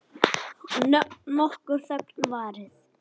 Nokkur þögn varð.